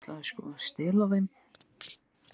Ég ætlaði sko að stela þeim.